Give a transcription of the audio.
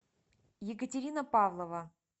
екатерина павлова